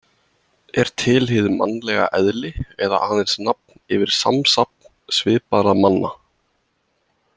Er til hið mannlega eðli eða aðeins nafn yfir samsafn svipaðra manna?